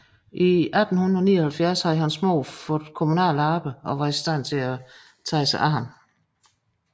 I 1879 havde hans mor havde fået kommunalt arbejde og var i stand til at tage sig af ham